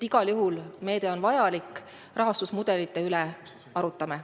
Igal juhul on meede vajalik, aga rahastusmudelite üle me veel arutame.